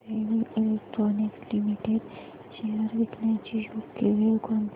Bharat heavy electricals limited shares विकण्याची योग्य वेळ कोणती